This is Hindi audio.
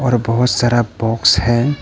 और बहुत सारा बॉक्स है।